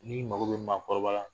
N'i mago bɛ maakɔrɔba la.